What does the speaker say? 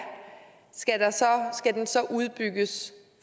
skal den så udbygges